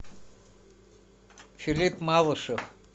филипп малышев